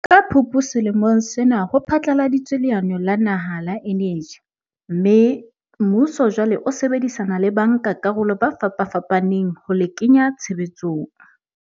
Ka Phupu selemong sena ho phatlaladitswe leano la naha la eneji mme, mmuso jwale o sebedisana le bankakarolo ba fapafapaneng ho le kenya tshebetsong.